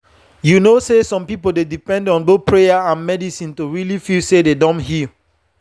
you know say some people dey depend on both prayer and medicine to really feel say dem don heal.